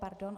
Pardon.